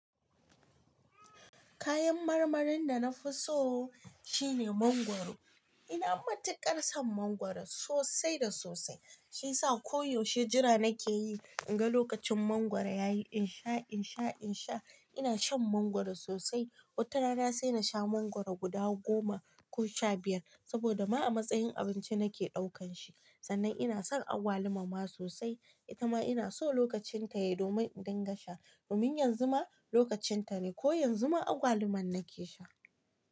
Kayan marmarin da na fi so shine mangwaro. Ina matuƙar son mangwaro sosai da sosai. Shi ya sa koyaushe jira nake yi in ga lokacin mangwaro ya yi. In sha, in sha, in sha. Ina shan mangwaro sosai. Wata rana sai na sha mangwaro guda goma ko sha biyar saboda ma a matsayin abinci nake ɗaukan shi. Sannan ina son agwaluma ma sosai. Ita ma ina so lokacin ta yai domin in dinga sha. Domin yanzu ma lokacin ta ne ko yanzu ma agwaluman nake sha.